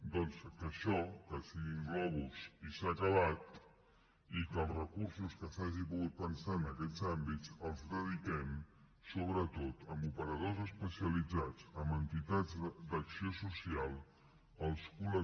doncs això que siguin globus i s’ha acabat i que els recursos que s’hagin pogut pensar en aquests àmbits els dediquem sobretot a operadors especialitzats a entitats d’acció social als col